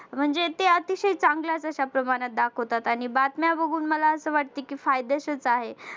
म्हणजे ते अतिशय चांगल्याच अश्या प्रमाणात दाखवतात आणि बातम्या बघून मला असं वाटतंय कि फायद्याचेच आहे.